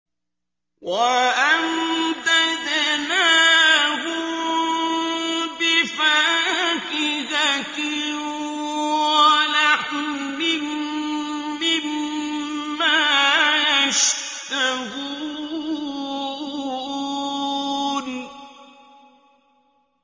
وَأَمْدَدْنَاهُم بِفَاكِهَةٍ وَلَحْمٍ مِّمَّا يَشْتَهُونَ